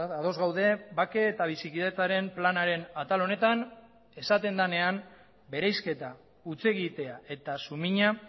ados gaude bake eta bizikidetzaren planaren atal honetan esaten denean bereizketa hutsegitea eta sumina